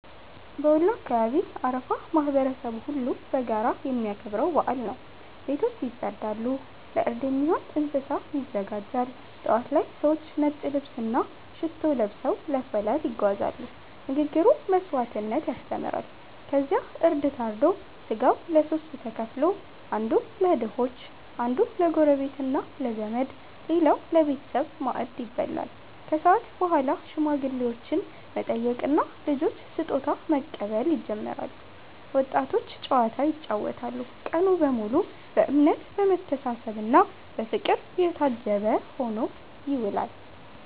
በወሎ አካባቢ አረፋ ማህበረሰቡ ሁሉ በጋራ የሚያከብረው በዓል ነው። ቤቶች ይጸዳሉ፣ እርድ የሚሆን እንስሳ ይዘጋጃል። ጠዋት ላይ ሰዎች ነጭ ልብስና ሽቶ ለብሰው ለሰላት ይጓዛሉ፤ ንግግሩ መስዋዕትነትን ያስተምራል። ከዚያ እርድ ታርዶ ሥጋው ለሦስት ተከፍሎ፦ አንዱ ለድሆች፣ አንዱ ለጎረቤትና ለዘመድ፣ ሌላው ለቤተሰብ ማዕድ ይበላል። ከሰዓት በኋላ ሽማግሌዎችን መጠየቅና ልጆች ስጦታ መቀበል ይጀምራል፤ ወጣቶች ጨዋታ ይጫወታሉ። ቀኑ በሙሉ በእምነት፣ በመተሳሰብና በፍቅር የታጀበ ሆኖ ይውላል።